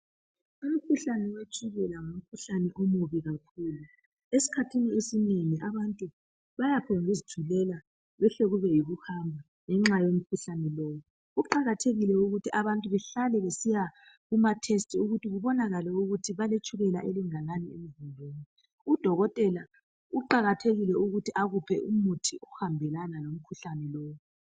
Umkhuhlane wetshukela ngumkhuhlane omubi kakhulu Esikhathini esinengi abantu bayaphonguzithulela kuhle kube yikuhamba ngenxa yomkhuhlane lowu Kuqakathekile ukuthi abantu behlale besiya kuma test ukuthi kubonakale ukuthi baletshukela elingakanani Udokotela kuqakathekile ukuthi akuphe umuthi ohambelana lomkhuhlane lowu